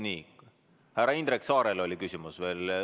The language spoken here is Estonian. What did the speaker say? Nii, härra Indrek Saarel oli küsimus veel.